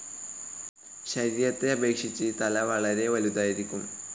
ശരീരത്തെ അപേക്ഷിച്ച് തല വളരെ വലുതായിരിക്കും.